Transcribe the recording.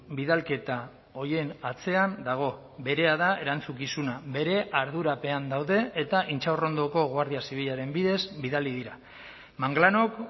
bidalketa horien atzean dago berea da erantzukizuna bere ardurapean daude eta intxaurrondoko guardia zibilaren bidez bidali dira manglanok